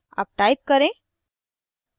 अब type करें